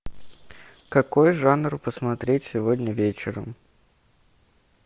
какой жанр посмотреть сегодня вечером